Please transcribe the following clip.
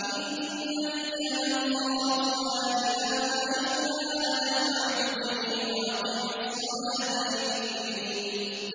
إِنَّنِي أَنَا اللَّهُ لَا إِلَٰهَ إِلَّا أَنَا فَاعْبُدْنِي وَأَقِمِ الصَّلَاةَ لِذِكْرِي